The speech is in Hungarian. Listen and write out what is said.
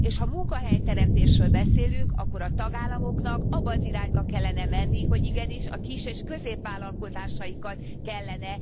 És ha munkahelyteremtésről beszélünk, akkor a tagállamoknak abba az irányba kellene menni, hogy igenis a kis és középvállalkozásaikat kellene támogatniuk.